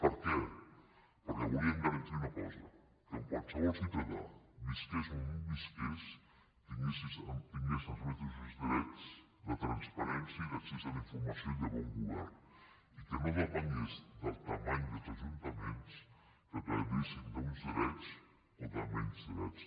per què perquè volíem garantir una cosa que qualsevol ciutadà visqués on visqués tingués els mateixos drets de transparència i d’accés a la informació i de bon govern i que no depengués de la dimensió dels ajuntaments que gaudissin d’uns drets o de menys drets